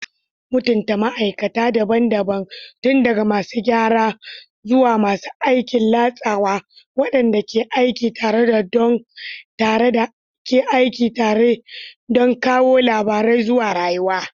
Mutunta ma'aikata daban-daban, tun daga masu gyara zuwa masu aikin latsawa, waɗanda ke aiki tare don kawo labarai zuwa rayuwa.